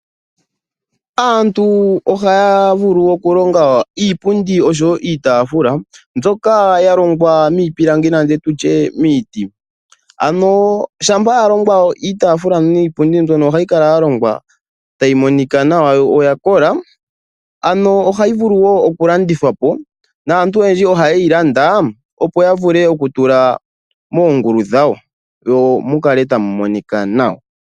Aantu ohaya vulu okulonga iipundi oshowo iitaafula ndyoka yalongwa miipilangi nenge tutye miiti. Ohayi kala yalongwa tayi monika nawa noyakola. Ohayi vulu woo okulandithwa po. Aantu oyendji ohayeyi landa opo yavule okutula moongulu dhawo momukale tamumonika nawa.